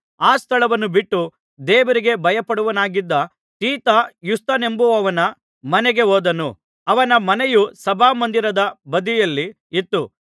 ಆ ಸ್ಥಳವನ್ನು ಬಿಟ್ಟು ದೇವರಿಗೆ ಭಯಪಡುವವನಾಗಿದ್ದ ತೀತ ಯುಸ್ತನೆಂಬುವನ ಮನೆಗೆ ಹೋದನು ಅವನ ಮನೆಯು ಸಭಾಮಂದಿರದ ಬದಿಯಲ್ಲಿ ಇತ್ತು